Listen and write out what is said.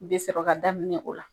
Bɛ sɔrɔ ka daminɛ o la